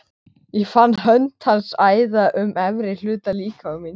Ég fann hönd hans æða um efri hluta líkama míns.